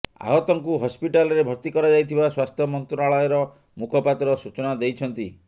ଆହତଙ୍କୁ ହସ୍ପିଟାଲରେ ଭର୍ତ୍ତି କରାଯାଇଥିବା ସ୍ୱାସ୍ଥ୍ୟ ମନ୍ତ୍ରାଳୟର ମୁଖପାତ୍ର ସୂଚନା ଦେଇଛନ୍ତି